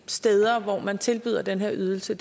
steder der tilbyder den her ydelse